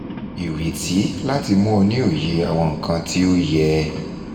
ireti lati mu o ni oye awon ikan ti ko ye!